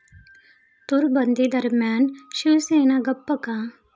तूर बंदीदरम्यान शिवसेना गप्प का?